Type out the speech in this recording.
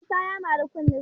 Isa ya mari kunnesa